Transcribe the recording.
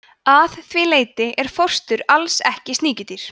að því leyti er fóstur alls ekki sníkjudýr